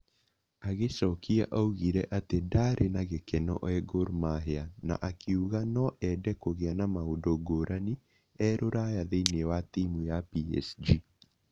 Agicokia augire atĩ ndaarĩ na gĩkeno e Gor Mahia na akiuga no ende kũgĩa na maũndũ ngũrani e Rũraya thĩiniĩ wa timu ya PSG